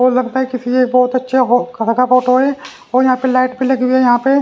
और लगता है किसी के बहुत अच्छा का फोटो है और यहां पे लाइट भी लगी हुई है यहां पे--